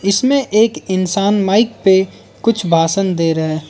इसमें एक इंसान माइक पे कुछ भाषण दे रहा हैं।